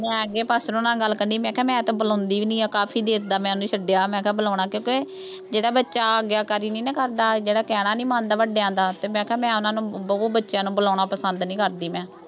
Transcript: ਮੈਂ ਅੱਗੇ ਹੁਣਾਂ ਨਾਲ ਗੱਲ ਕਰਨੀ, ਮੈਂ ਕਿਹਾ ਮੈਂ ਤਾਂ ਬੁਲਾਉਂਦੀ ਨਹੀਂ, ਕਾਫੀ ਦੇਰ ਦਾ, ਮੈਂ ਉਹਨੂੰ ਛੱਡਿਆ ਮੈਂ ਤਾਂ ਬੁਲਾਉਣਾ, ਕਿਉਂਕਿ ਜਿਹੜਾ ਬੱਚਾ ਆਗਿਆਕਾਰੀ ਨਹੀਂ ਨਾ ਕਰਦਾ, ਜਿਹੜਾ ਕਹਿਣਾ ਨਹੀਂ ਮੰਨਦਾ ਵੱਡਿਆਂ ਦਾ, ਅਤੇ ਮੈਂ ਕਿਹਾ ਮੈਂ ਉਹਨਾ ਨੂੰ ਬਹੁ- ਬੱਚਿਆਂ ਨੂੰ ਬੁਲਾਉਣਾ ਪਸੰਦ ਨਹੀਂ ਕਰਦੀ ਮੈਂ।